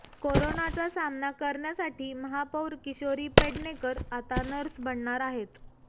कोरोनाचा सामना करण्यासाठी महापौर किशोरी पेडणेकर आता नर्स बनणार आहेत